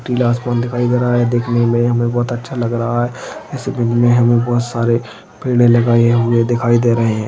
पीला आसमान दिखाई दे रहा है देखने हमे बहुत अच्छा लग रहा है इसी बहुत सारे पेड़े लगाए हुए दिखाई दे रहे है।